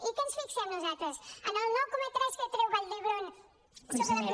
i en què ens fixem nosaltres en el nou coma tres que treu vall d’hebron sobre